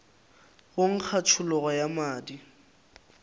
go nkga tšhologo ya madi